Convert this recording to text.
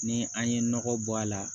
Ni an ye nɔgɔ bɔ a la